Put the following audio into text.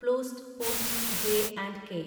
പ്ലൂസ്റ്റ് Poonch J and K